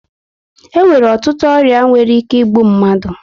E nwere ọtụtụ ọrịa nwere ike igbu mmadụ